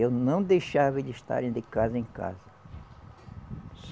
Eu não deixava eles estarem de casa em casa.